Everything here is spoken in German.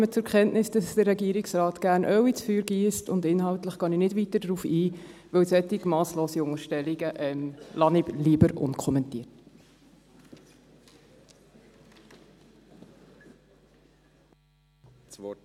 Ich nehme zur Kenntnis, dass der Regierungsrat gern Öl ins Feuer giesst, und inhaltlich gehe ich nicht weiter darauf ein, weil ich solche masslosen Unterstellungen lieber unkommentiert lasse.